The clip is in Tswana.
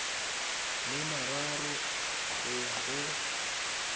le mararo go ya go